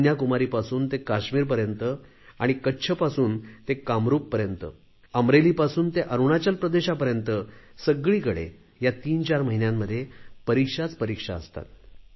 कन्याकुमारी पासून ते काश्मीरपर्यंत आणि कच्छपासून ते कामरूपपर्यंत अमरेलीपासून ते अरुणाचल प्रदेशापर्यंत सगळीकडे या तीन चार महिन्यांमध्ये परिक्षाच परीक्षा असतात